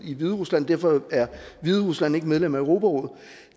i hviderusland derfor er hviderusland ikke medlem af europarådet